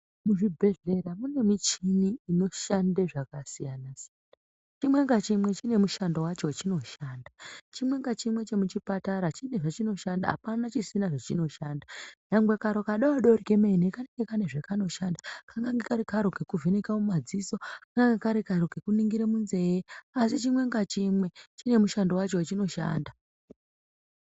Muzvibhehlera mune michini inoshande zvakasiyana -siyana. Chimwe ngachimwe chine mushando wachinoshanda. Chimwe ngachimwe chemuchipatara chine zvachinoshanda. Hapana chisina zvachinoshanda nyangwe kadodori kemene Kane zvakanoshanda, kangange Kari karo kekuvheneka mumadziso, kangange Kari karo kekuningire munzee asi chimwe ngachimwe chine mushando wacho wachinoshanda.